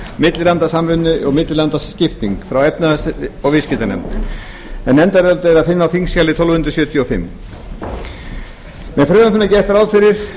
millilandasamvinnu og millilandaskipting frá efnahags og viðskiptanefnd nefndarálitið er að finna á þingskjali tólf hundruð sjötíu og fimm með frumvarpinu er gert ráð fyrir